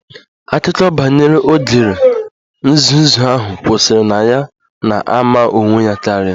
Akụkọ banyere ogre nzuzu ahụ kwụsịrị na ya na-ama onwe ya karịa